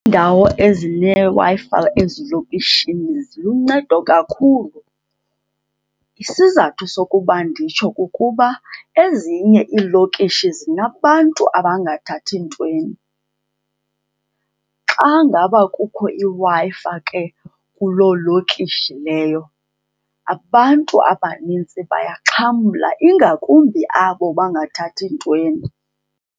Iindawo ezineWi-Fi ezilokishini ziluncedo kakhulu. Isizathu sokuba nditsho kukuba ezinye iilokishi zinabantu abangathi ntweni. Xa ngaba kukho iWi-Fi ke kuloo lokishi leyo abantu abanintsi bayaxhamla, ingakumbi abo bangathathi ntweni.